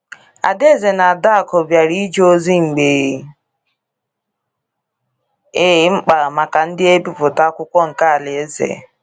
Adaeze na Adaku bịara ije ozi mgbe e mkpa maka ndi ebipụta akwụkwo nke Alaeze